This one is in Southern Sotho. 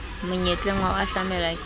monyetleng wa ho hahlamelwa ke